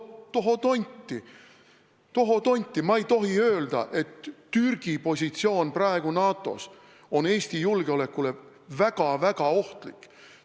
Tohoo tonti, ma ei tohtivat öelda, et Türgi positsioon praegu NATO-s on Eesti julgeolekule väga-väga ohtlik!